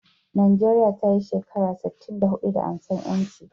Nigeria tayi shekara sitin da hudu da ansar yanci